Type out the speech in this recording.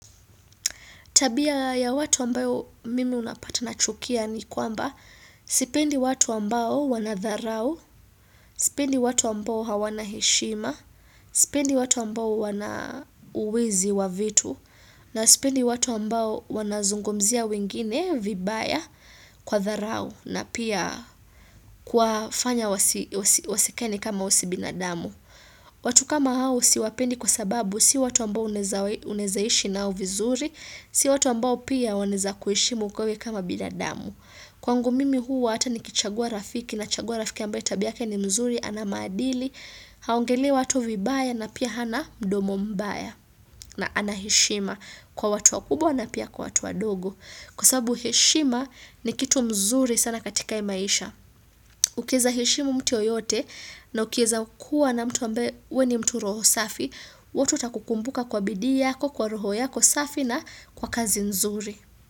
Tabia ya watu ambayo mimi unapata nachukia ni kwamba sipendi watu ambao wanadharau, sipendi watu ambao hawana heshima, sipendi watu ambao wana uwizi wa vitu, na sipendi watu ambao wanazungumzia wengine vibaya kwa dharau na pia kuwafanya wasikae ni kama wao si binadamu. Watu kama hao siwapendi kwa sababu si watu ambao unawezaishi nao vizuri, si watu ambao pia wanezakuhishimu wewe kama binadamu. Kwangu mimi huwa hata nikichagua rafiki nachagua rafiki ambaye tabia yake ni mzuri ana maadili, haongelei watu vibaya na pia hana mdomo mbaya na anaheshima kwa watu wakubwa na pia kwa watu wadogo. Kwa sababu heshima ni kitu mzuri sana katika hii maisha. Ukiweza hishimu mtu yeyote na ukiwezakuwa na mtu ambeye wewe ni mtu roho safi, watu watakukumbuka kwa bidii yako, kwa roho yako safi na kwa kazi nzuri.